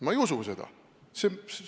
Ma ei usu seda!